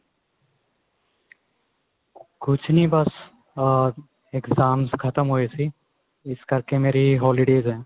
ਕੁੱਝ ਨੀਂ ਬੱਸ ਆ exams ਖਤਮ ਹੋਏ ਸੀ ਇਸ ਕਰਕੇ ਮੇਰੀ holidays ਏ